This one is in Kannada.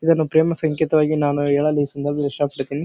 ಇದನ್ನು ಪ್ರೇಮ ಸಂಕೇತವಾಗಿ ನಾನು ಹೇಳಲು ಈ ಸಂದರ್ಭದ ಇಷ್ಟ ಪಡುತ್ತೇನಿ .